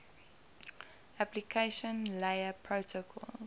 application layer protocols